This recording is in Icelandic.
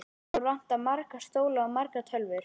Okkur vantar marga stóla og margar tölvur.